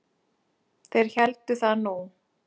Þeir héldu það nú.